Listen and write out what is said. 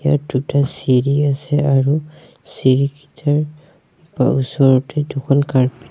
ইয়াত দুটা চিৰি আছে আৰু চিৰি কিটাৰ ব ওচৰতে দুখন কাৰ্পেট --